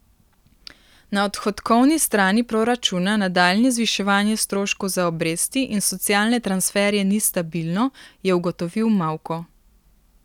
Na odhodkovni strani proračuna nadaljnje zviševanje stroškov za obresti in socialne transferje ni stabilno, je ugotovil Mavko.